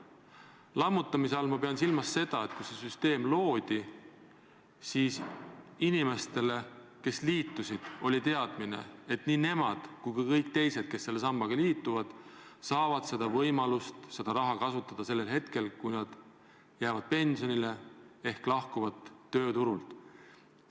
Lammutamise all ma pean silmas seda, et kui see süsteem loodi, siis inimestel, kes liitusid, oli teadmine, et nii nemad kui ka kõik teised, kes selle sambaga liituvad, saavad võimaluse seda raha kasutada siis, kui nad jäävad pensionile ehk lahkuvad tööturult.